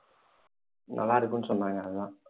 நல்லா இருக்கும்ணு சொன்னாங்க அதான்